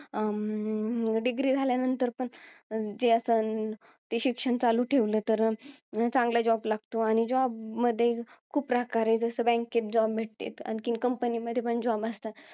अं Degree झाल्यानंतर पण ते असं ते शिक्षण चालू ठेवलं तर, अं चांगला job लागतो. आणि job मध्ये, खूप प्रकार आहेत. जसं bank मध्ये जाऊन भेटतेत. आणखीन company मध्ये पण job असतात.